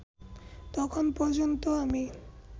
তখন পর্যন্ত আমি